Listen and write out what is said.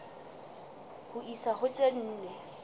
ho isa ho tse nne